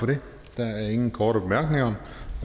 for det der er ingen korte bemærkninger